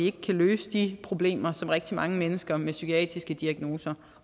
at løse de problemer som rigtig mange mennesker med psykiatriske diagnoser